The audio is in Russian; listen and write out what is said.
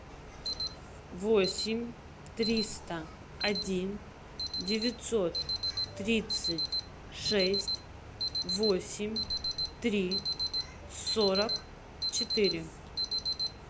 восемь триста один девятьсот тридцать шесть восемь три сорок четыре